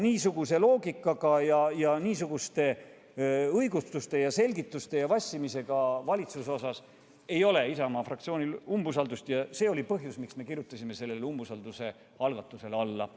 Niisugust loogikat, niisuguseid õigustusi ja selgitusi kasutava ning niimoodi vassiva valitsuse suhtes ei ole Isamaa fraktsioonil usaldust ning see oli põhjus, miks me kirjutasime umbusalduse avaldamise algatusele alla.